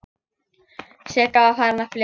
Sigga var farin að flissa.